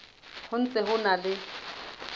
ho ntse ho na le